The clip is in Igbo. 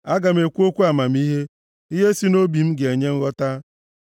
Aga m ekwu okwu amamihe, ihe sị nʼobi m ga-enye nghọta.